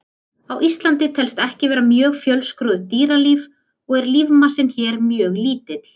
Á Íslandi telst ekki vera mjög fjölskrúðugt dýralíf og er lífmassinn hér mjög lítill.